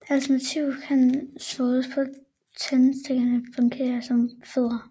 Alternativt kan svovlet på tændstikkerne fungere som fødder